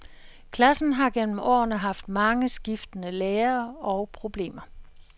Klassen har gennem årene haft mange skiftende lærere og problemer.